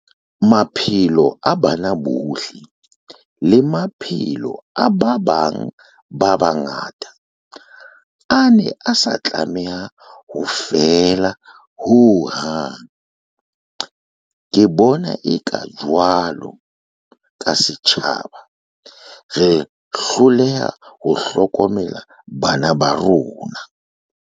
Maphelo a bana bohle, le maphelo a ba bang ba bangata, a ne a sa tlameha ho feela ho hang. Ke bona eka, jwalo ka se tjhaba, re hloleha ho hlokomela bana ba rona.